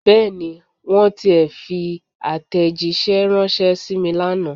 Bẹ́ẹ̀ni. Wọ́n tiẹ̀ fi àtẹ̀jíṣẹ́ ránṣẹ́ sí mi lánàá.